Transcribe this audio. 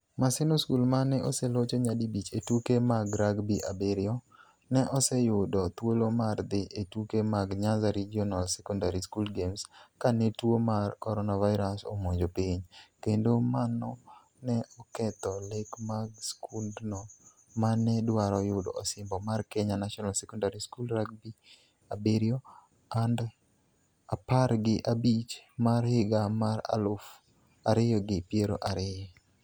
Maseno School ma ne oselocho nyadi bich e tuke mag rugby abiriyo, ne oseyudo thuolo mar dhi e tuke mag Nyanza Regional Secondary School Games kane tuo mar coronavirus omonjo piny, kendo mano ne oketho lek mag skundno ma ne dwaro yudo osimbo mar Kenya National Secondary School rugbyabiriyo and apar gi abich mar higa mar aluf ariyo gi piero ariyo.